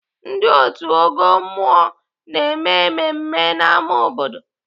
Ndị otu ọgọ mmụọ na-eme mmemme n'ámá obodo.